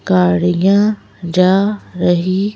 गाड़ियाँ जा रही--